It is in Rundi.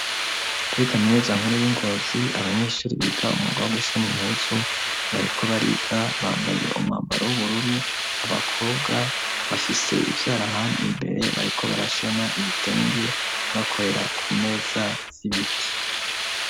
Kuri Kaminuza Nkuru y'i Ngozi abanyeshuri biga umwuga wo gushona impuzu bariko bariga; bambaye umwambaro w'ubururu abakobwa bafise ivyarahandi imbere, bariko barashona ibitenge bakorera ku meza z'ibiti.